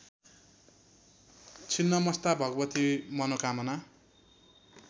Chhinnamasta Bhagwati Manokamana